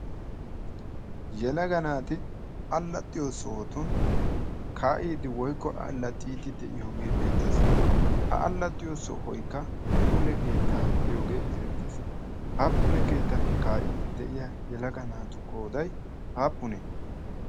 yelaga naati allaxxiyo sohotun kaa7iidi woikko allaxxiiddi de7iyoogee beettees ha allaxxiyo sohoikka pule keettaa gidiyoogee erettees ha pule keettan kaa7iiddi de7iya yalaga naatu qoodai aappunee